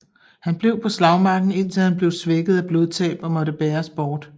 Han blev på slagmarken indtil han blev svækket af blodtab og måtte bæres bort